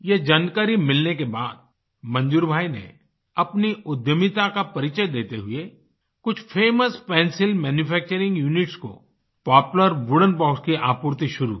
ये जानकारी मिलने के बाद मंजूर भाई ने अपनी उद्यमिता का परिचय देते हुए कुछ फेमस पेंसिल मैन्यूफैक्चरिंग यूनिट्स को पोपलार वुडेन बॉक्स की आपूर्ति शुरू की